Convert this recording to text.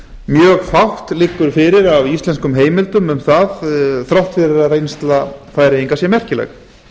mjög fátt liggur fyrir af íslenskum heimildum um það þrátt fyrir að reynsla færeyinga sé merkileg